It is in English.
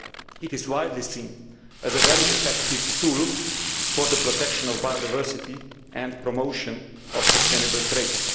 It is widely seen as a very effective tool for the protection of biodiversity and promotion of sustainable trade.